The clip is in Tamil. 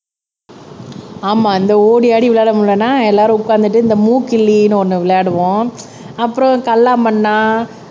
ஆமா இந்த ஓடி ஆடி விளையாட முடியலைன்னா எல்லாரும் உட்கார்ந்துட்டு இந்த மூக்கிள்ளின்னு ஒண்ணு விளையாடுவோம் அப்புறம் கல்லா மன்னா